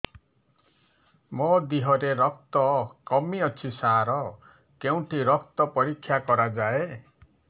ମୋ ଦିହରେ ରକ୍ତ କମି ଅଛି ସାର କେଉଁଠି ରକ୍ତ ପରୀକ୍ଷା କରାଯାଏ